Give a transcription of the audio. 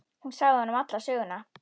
Hún sagði honum alla söguna.